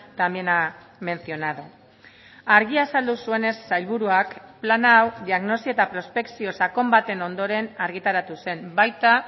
también ha mencionado argi azaldu zuenez sailburuak plan hau diagnosi eta prospekzio sakon baten ondoren argitaratu zen baita